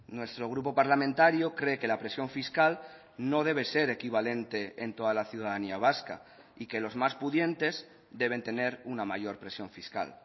nuestro grupo parlamentario cree que la presión fiscal no debe ser equivalente en toda la ciudadanía vasca y que los más pudientes deben tener una mayor presión fiscal